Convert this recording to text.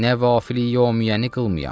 Nəvafili Yövmiyyəni qılmayam.